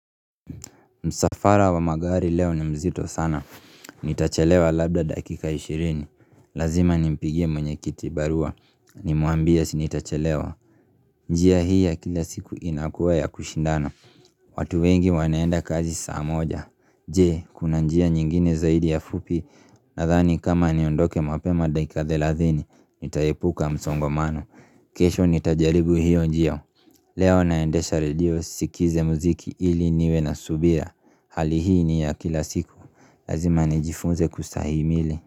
Msafara wa magari leo ni mzito sana, nitachelewa labda dakika 20, lazima nimpigie mwenyekiti baruwa, nimwambie si nitachelewa njia hii ya kila siku inakuwa ya kushindana, watu wengi wanaenda kazi saa moja, jee kuna njia nyingine zaidi ya fupi Nathani kama niondoke mapema dakika thelathini, nitaepuka msongomano, kesho nitajaribu hiyo njia Leo naendesha radio sikize muziki iliniwe na subira Hali hii ni ya kila siku Lazima ni jifunze kustahimili.